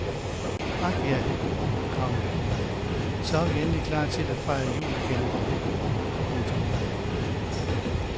Ak ja, komma så er vi endelig klar til at fejre jul igen. punktum